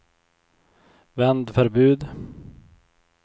vändförbud